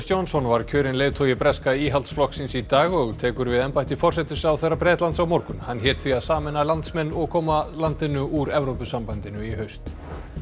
Johnson var kjörinn leiðtogi breska Íhaldsflokksins í dag og tekur við embætti forsætisráðherra á morgun hann hét því að sameina landsmenn og koma landinu úr Evrópusambandinu í haust